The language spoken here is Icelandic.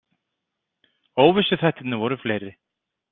Óvissuþættirnir voru fleiri.